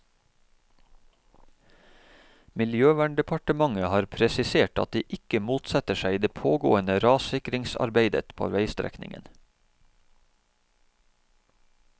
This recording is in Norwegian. Miljøverndepartementet har presisert at de ikke motsetter seg det pågående rassikringsarbeidet på veistrekningen.